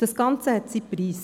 Das hat seinen Preis.